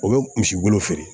O bɛ misi wolo feere